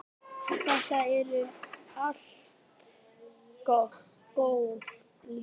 Þetta eru allt góð lið.